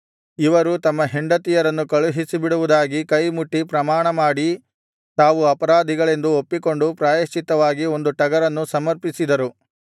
ಇವರು ತಮ್ಮ ಹೆಂಡತಿಯರನ್ನು ಕಳುಹಿಸಿಬಿಡುವುದಾಗಿ ಕೈ ಮುಟ್ಟಿ ಪ್ರಮಾಣಮಾಡಿ ತಾವು ಅಪರಾಧಿಗಳೆಂದು ಒಪ್ಪಿಕೊಂಡು ಪ್ರಾಯಶ್ಚಿತ್ತವಾಗಿ ಒಂದು ಟಗರನ್ನು ಸಮರ್ಪಿಸಿದರು